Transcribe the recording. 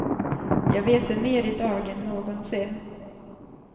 Jag vet det mer i dag än någonsin.